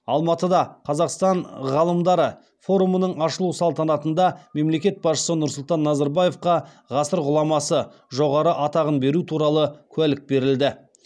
алматыда қазақстан ғалымдары форумының ашылу салтанатында мемлекет басшысы нұрсұлтан назарбаевқа ғасыр ғұламасы жоғары атағын беру туралы куәлік берілді